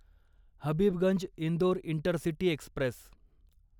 Habibganj Indore intercity Express